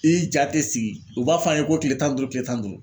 I ja tɛ sigi u b'a f'an ye ko tile tan ni duuru, tile tan ni duuru